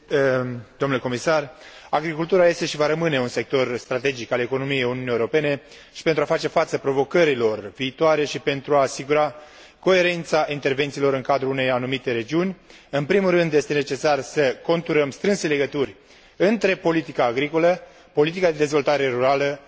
Agricultura este și va rămâne un sector strategic al economiei Uniunii Europene și, pentru a face față provocărilor viitoare și pentru a asigura coerența intervențiilor în cadrul unei anumite regiuni, în primul rând este necesar să conturăm strânse legături între politica agricolă, politica de dezvoltare rurală și politica regională.